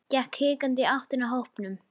Gekk hikandi í áttina að hópnum.